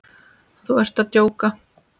Þú ert að djóka?